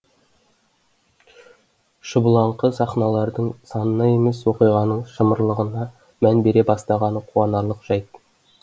шұбылаңқы сахналардың санына емес оқиғаның шымырлығына мән бере бастағаны қуанарлық жайт